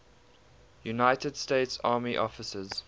united states army officers